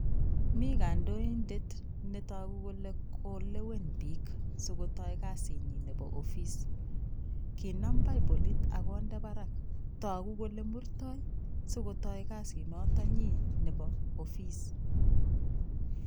Mi kandoindet netogu kole kolewen biik sikotoi kazinyi nebo office, kinam baipolit ak konde barak togu kole murtoi sikotoi kazinotonyi nebo office.